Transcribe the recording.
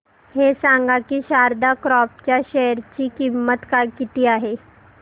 हे सांगा की शारदा क्रॉप च्या शेअर ची किंमत किती आहे